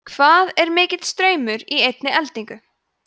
hvað er mikill straumur í einni eldingu